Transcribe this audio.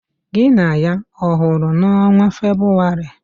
Gị na ya ọ hụrụ n'ọnwa Febụwarị?